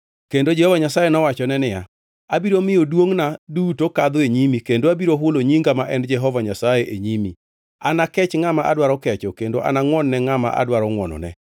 Kendo Jehova Nyasaye nowachone niya, “Abiro miyo duongʼna duto kadho e nyimi kendo abiro hulo nyinga ma en Jehova Nyasaye e nyimi. Anakech ngʼama adwaro kecho kendo anangʼwon-ne ngʼama adwaro ngʼwonone.”